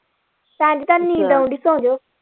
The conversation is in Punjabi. ਭੈਣਜੀ ਤੁਹਾਨੂੰ ਨੀਂਦ ਆਉਣ ਦੀ ਸੌਣਜੋਂ।